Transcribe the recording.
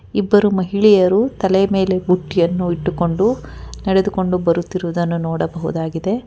ಇಬ್ಬರು ಮಹಿಳೆಯರು ತಲೆ ಮೇಲೆ ಬುಟ್ಟಿಯನ್ನು ಇಟ್ಟುಕೊಂಡು ನಡೆದುಕೊಂಡು ಬರುತ್ತಿರುವುದನ್ನು ನೋಡಬಹುದಾಗಿದೆ.